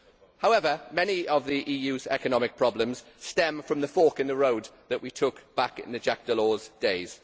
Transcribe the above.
However, many of the EU's economic problems stem from the fork in the road that we took back in the Jacques Delors days.